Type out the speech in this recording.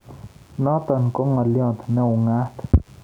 Notok ko ng'alyo ne ung'aat